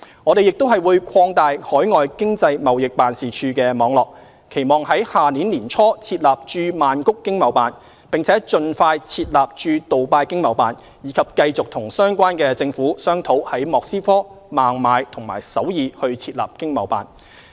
我們亦會擴大海外經濟貿易辦事處網絡，期望在明年年初設立駐曼谷經貿辦，並盡快設立駐杜拜經貿辦，以及繼續與相關政府商討在莫斯科、孟買和首爾設立經貿辦。